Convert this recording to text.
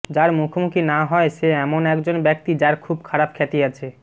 যার মুখোমুখি না হয় সে এমন একজন ব্যক্তি যার খুব খারাপ খ্যাতি আছে